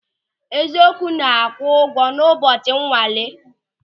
Eziokwu na-akwụ ụgwọ n'ụbọchị nwale.